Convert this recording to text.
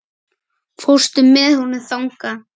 Fórstu með honum þangað?